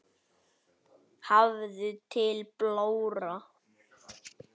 Hafður til blóra?